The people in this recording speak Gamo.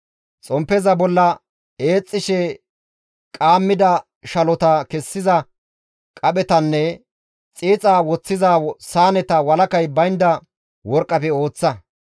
Xomppeza bolla eexxishe qaammida shalota kessiza qaphetanne xiixa woththiza saaneta walakay baynda worqqafe ooththa.